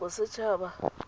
bosetšhaba